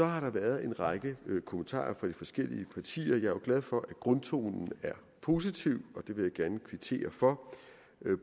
har været en række kommentarer fra de forskellige partier jeg er glad for at grundtonen er positiv og vil jeg gerne kvittere for